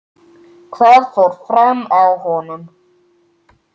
Hvað fór fram á honum?